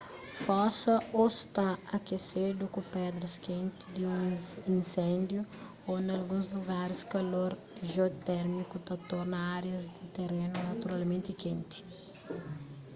fosa ô sta akesedu ku pedras kenti di un inséndiu ô nalguns lugaris kalor jiotérmiku ta torna árias di terénu naturalmenti kenti